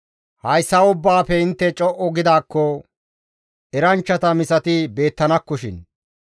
Hayssa ubbaafe intte co7u gidaakko eranchchata misati beettanakkoshin!